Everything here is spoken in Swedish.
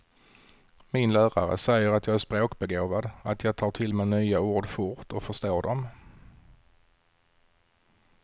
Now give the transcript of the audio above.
Min lärare säger att jag är språkbegåvad, att jag tar till mig nya ord fort och förstår dem.